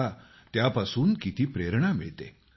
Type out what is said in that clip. पहा त्यापासून किती प्रेरणा मिळते